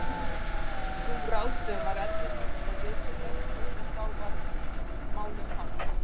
Sú ráðstöfun var eðlileg og viturleg svo sem þá var málum háttað.